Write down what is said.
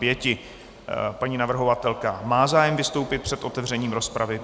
Paní navrhovatelka má zájem vystoupit před otevřením rozpravy.